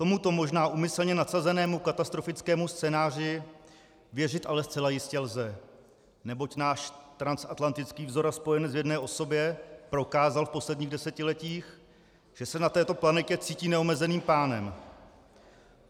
Tomuto možná úmyslně nadsazenému katastrofickému scénáři věřit ale zcela jistě lze, neboť náš transatlantický vzor a spojenec v jedné osobě prokázal v posledních desetiletích, že se na této planetě cítí neomezeným pánem.